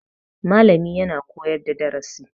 Malami yana koyar da darasi